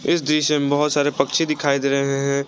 इस दृश्य में बहुत सारे पक्षी दिखाई दे रहे हैं।